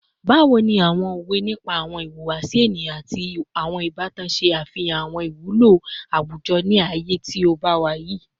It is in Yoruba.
Bawo ni awọn owe nipa awọn ihuwasi eniyan ati awọn ibatan ṣe afihan awọn iwulo awujọ ni aaye ti o wa bayi?